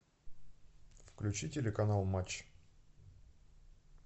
включи телеканал матч